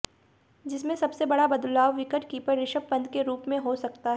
जिसमें सबसे बड़ा बदलाव विकेटकीपर ऋषभ पंत के रूप में हो सकता हैं